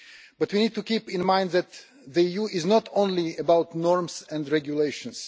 But we need to keep in mind that the EU is not only about norms and regulations.